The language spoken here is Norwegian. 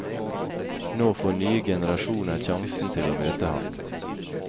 Nå får nye generasjoner sjansen til å møte ham.